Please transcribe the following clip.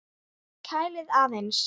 Kælið aðeins.